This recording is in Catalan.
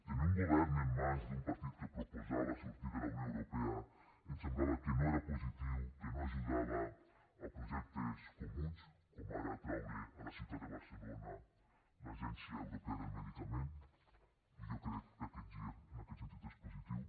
tenir un govern en mans d’un partit que proposava sortir de la unió europea ens semblava que no era positiu que no ajudava a projectes comuns com ara atraure a la ciutat de barcelona l’agència europea del medicament i jo crec que aquest gir en aquest sentit és positiu